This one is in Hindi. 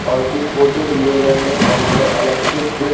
और कुछ फोटोस ले रहे हैं वहाँ पे इलेक्ट्रिक --